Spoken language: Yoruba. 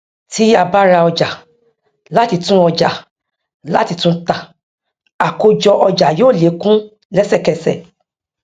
tí a bá ra ọjà láti tun ọjà láti tun ta àkójọ ọjà yóó lékún lesekese